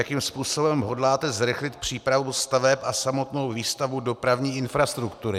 Jakým způsobem hodláte zrychlit přípravu staveb a samotnou výstavbu dopravní infrastruktury?